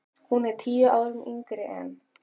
Hún er tíu árum yngri en